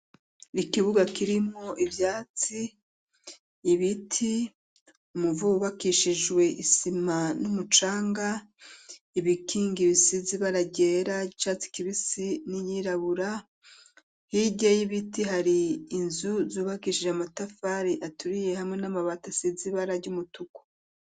Ikibuga kirimwo ivyatsi, ibiti, umuvu wubakishijwe isima n'umucanga, ibikingi ibisizi ibara ryera, icatsi kibisi, n'iyirabura, hirya y'ibiti hari inzu zubakishije amatafari aturiye, hamwe n'amabati asize ibara ry'umutuku.